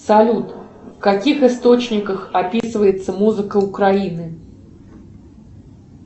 салют в каких источниках описывается музыка украины